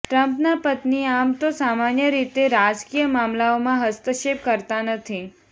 ટ્રમ્પનાં પત્ની આમ તો સામાન્ય રીતે રાજકીય મામલાઓમાં હસ્તક્ષેપ કરતાં નથી